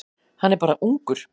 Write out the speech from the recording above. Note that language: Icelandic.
Hann er bara ungur.